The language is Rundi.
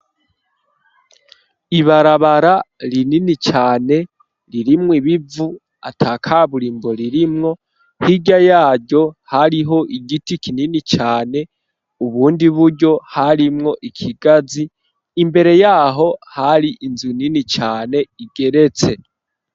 Ibarabara rinini cane ririmwo ibivu atakaburimbo ririmwo hirya yaryo hariho igiti kinini cane ubundi buryo harimwo ikigazi imbere yaho hari inzu nini cane igeretse.